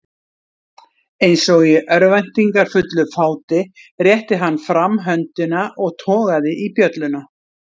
Eins og í örvæntingarfullu fáti rétti hann fram höndina og togaði í bjölluna.